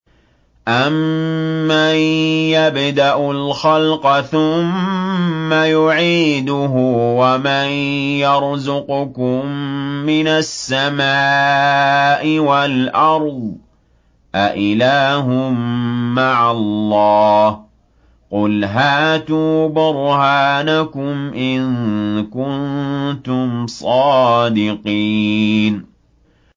أَمَّن يَبْدَأُ الْخَلْقَ ثُمَّ يُعِيدُهُ وَمَن يَرْزُقُكُم مِّنَ السَّمَاءِ وَالْأَرْضِ ۗ أَإِلَٰهٌ مَّعَ اللَّهِ ۚ قُلْ هَاتُوا بُرْهَانَكُمْ إِن كُنتُمْ صَادِقِينَ